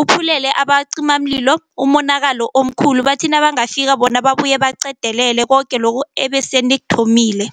uphumelele abacimimlilo umonakalo omkhulu. Bathi nabangafika bona babuye baqedelele koke lokhu ebasenikuthomile.